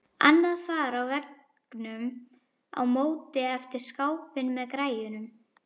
Annað far á veggnum á móti eftir skápinn með græjunum.